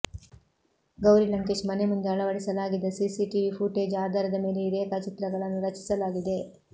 ಗೌರಿ ಲಂಕೇಶ್ ಮನೆ ಮುಂದೆ ಅಳವಡಿಸಲಾಗಿದ್ದ ಸಿಸಿಟಿವಿ ಫುಟೇಜ್ ಆಧಾರದ ಮೇಲೆ ಈ ರೇಖಾಚಿತ್ರಗಳನ್ನು ರಚಿಸಲಾಗಿದೆ